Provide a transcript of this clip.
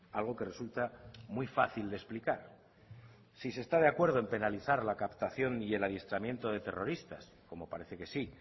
algo que resulta muy fácil de explicar si se está de acuerdo en penalizar la captación y el adiestramiento de terroristas como parece que sí